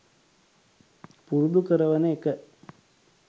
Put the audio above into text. පුරුදු කරවන එක